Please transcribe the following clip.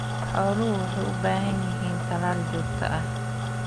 Xooluhu waxay u baahan yihiin talaal joogto ah.